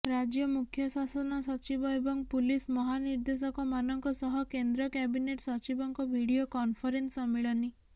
ରାଜ୍ୟ ମୁଖ୍ୟ ଶାସନ ସଚିବ ଏବଂ ପୁଲିସ ମହାନିର୍ଦ୍ଦେଶକମାନଙ୍କ ସହ କେନ୍ଦ୍ର କ୍ୟାବିନେଟ ସଚିବଙ୍କ ଭିଡିଓ କନଫରେନ୍ସ ସମ୍ମିଳନୀ